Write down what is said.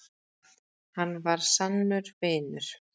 Hann var sannur vinur.